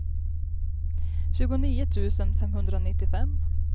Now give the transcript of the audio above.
tjugonio tusen femhundranittiofem